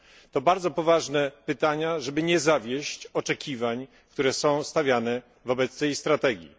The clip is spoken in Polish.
To bardzo poważne pytania, żeby nie zawieść oczekiwań, które są stawiane wobec tej strategii.